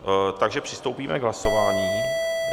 Takže přistoupíme k hlasování.